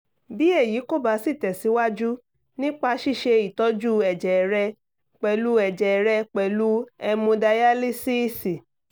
bí èyí kò bá sí tẹ̀síwájú nípa ṣíṣe ìtọ́jú ẹ̀jẹ̀ rẹ pẹ̀lú ẹ̀jẹ̀ rẹ pẹ̀lú hẹmodayalísíìsì